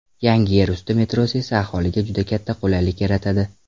Yangi yerusti metrosi esa aholiga juda katta qulaylik yaratadi.